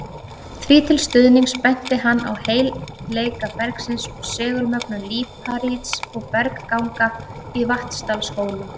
Því til stuðnings benti hann á heilleika bergsins og segulmögnun líparíts og bergganga í Vatnsdalshólum.